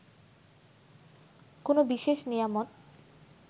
কোনো বিশেষ নিয়ামত